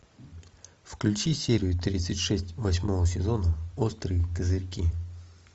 включи серию тридцать шесть восьмого сезона острые козырьки